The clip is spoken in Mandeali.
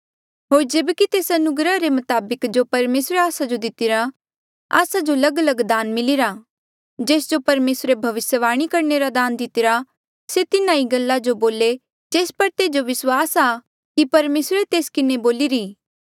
होर जेब्की तेस अनुग्रहा रे मताबक जो परमेसरे आस्सा जो दितिरा आस्सा जो लगलग दान मिलिरा जेस जो परमेसरे भविस्यवाणी करणे रा दान दितिरा से तिन्हा ही गल्ला जो बोले जेस पर तेजो विस्वासा कि परमेसरे तेस किन्हें बोलिरी